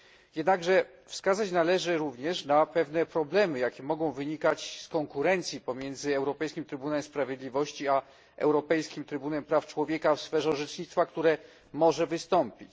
Jednakże wskazać należy również na pewne problemy, jakie mogą wynikać z konkurencji pomiędzy europejskim Trybunałem Sprawiedliwości a Europejskim Trybunałem Praw Człowieka w sferze orzecznictwa, które może wystąpić.